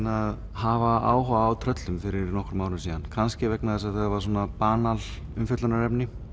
hafa áhuga á tröllum fyrir nokkrum árum kannski vegna þess að þau hafa banal umfjöllunarefni